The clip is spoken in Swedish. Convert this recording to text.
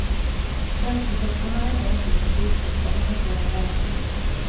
Tjänstesektorn har ännu inte hunnit utveckla någon sådan verksamhet.